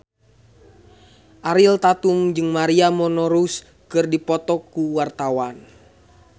Ariel Tatum jeung Maria Menounos keur dipoto ku wartawan